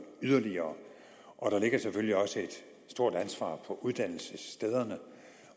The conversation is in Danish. yderligere og der ligger selvfølgelig også et stort ansvar på uddannelsesstederne